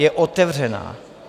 Je otevřená.